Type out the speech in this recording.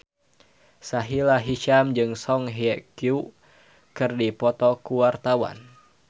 Sahila Hisyam jeung Song Hye Kyo keur dipoto ku wartawan